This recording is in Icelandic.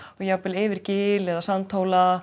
jafnvel yfir gil eða